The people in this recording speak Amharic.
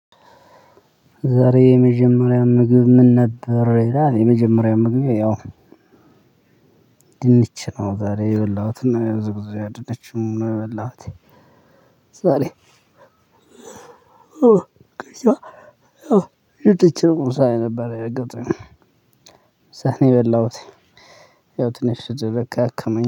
ዛሬ የመጀመሪያ ምግብ ምን ነበር? የመጀመሪያ ምግብ ያው ድንች ነው። ዛሬ የበላሁትና የብዙ ጊዜ ድንችም ነው የበላሁት። ዛሬ ሳሌ ይጥችም ሳይ ነበር የረገጠኝ። እየበላሁት ያው ትንሽ ድርጅት አከመኝ